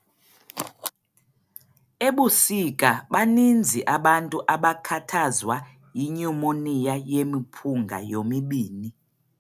Ebusika baninzi abantu abakhathazwa yinyumoniya yemiphunga yomibini.